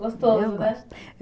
Gostoso, né?